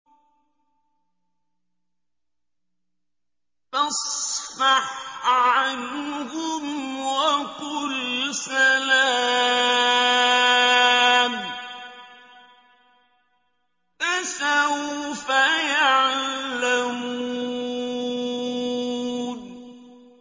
فَاصْفَحْ عَنْهُمْ وَقُلْ سَلَامٌ ۚ فَسَوْفَ يَعْلَمُونَ